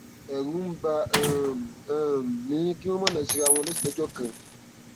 ẹrù ń bà um um mí kí wọn má lọ ṣe ara wọn léṣe lọjọ kan